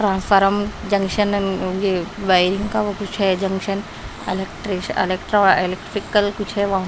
transfer junction and wiring वो कुछ हैं जंक्शन एलेक इलेक्ट्रिक कुछ हैं वहाँ पे--